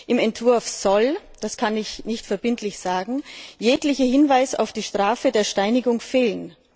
Im Entwurf soll das kann ich jedoch nicht verbindlich sagen jeglicher Hinweis auf die Strafe der Steinigung fehlen.